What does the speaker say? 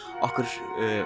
okkur